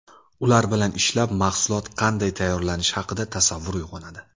Ular bilan ishlab, mahsulot qanday tayyorlanishi haqida tasavvur uyg‘onadi.